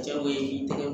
Jago in tɛ